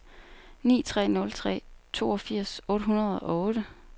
ni tre nul tre toogfirs otte hundrede og otte